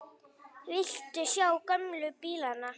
Viltu sjá gömlu bílana?